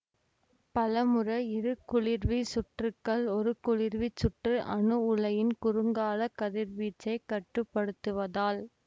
பலமுறை இரு குளிர்வி சுற்றுக்கள் ஒரு குளிர்விச் சுற்று அணு உலையின் குறுங்கால கதிர்வீச்சைக் கட்டுப்படுத்துவதால்